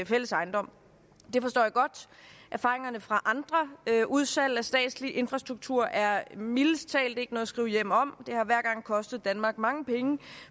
fælles ejendom det forstår jeg godt erfaringerne fra andre udsalg af statslig infrastruktur er mildest talt ikke noget at skrive hjem om det har hver gang kostet danmark mange penge og